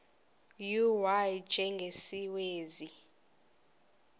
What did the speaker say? u y njengesiwezi